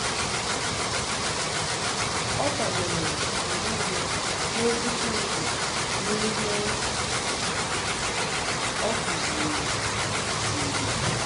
Ma o kwadoro mgbe niile n’Okwu Chineke n’ihe o kụziri. kụziri.